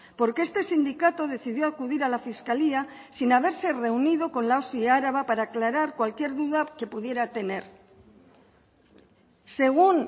porque este sindicato decidió acudir a la fiscalía sin haberse reunido con la osi araba para aclarar cualquier duda que pudiera tener según